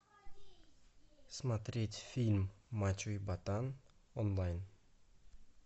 смотреть фильм мачо и ботан онлайн